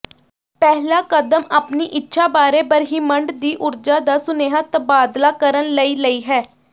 ਪਹਿਲਾ ਕਦਮ ਆਪਣੀ ਇੱਛਾ ਬਾਰੇ ਬ੍ਰਹਿਮੰਡ ਦੀ ਊਰਜਾ ਦਾ ਸੁਨੇਹਾ ਤਬਾਦਲਾ ਕਰਨ ਲਈ ਲਈ ਹੈ